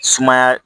Sumaya